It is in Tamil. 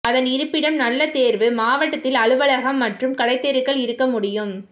அதன் இருப்பிடம் நல்ல தேர்வு மாவட்டத்தில் அலுவலகம் மற்றும் கடைத்தெருக்கள் இருக்க முடியும்